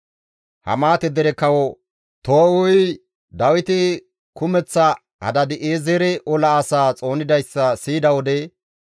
Hamaate dere kawo Too7uyi Dawiti kumeththa Hadaadi7eezere ola asaa xoonidayssa siyida wode,